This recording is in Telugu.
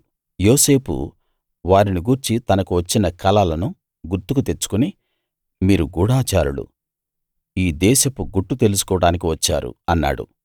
యోసేపు వారిని గూర్చి తనకు వచ్చిన కలలను గుర్తుకు తెచ్చుకుని మీరు గూఢచారులు ఈ దేశపు గుట్టు తెలుసుకోడానికి వచ్చారు అన్నాడు